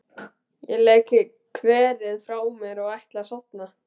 Ég legg kverið frá mér og ætla að sofna.